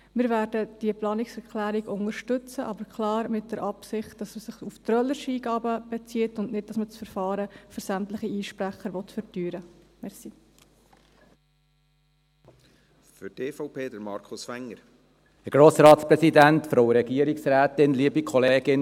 Wir werden diese Planungserklärung unterstützen, aber klar mit der Absicht, dass diese sich auf trölerische Eingaben bezieht und nicht, dass man das Verfahren für sämtliche Einsprecher verteuern will.